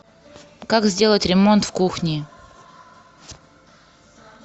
как сделать ремонт в кухне